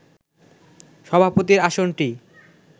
সভাপতির আসনটি